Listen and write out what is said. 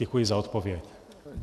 Děkuji za odpověď.